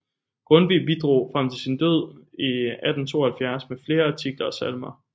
Grundtvig bidrog frem til sin død i 1872 med flere artikler og salmer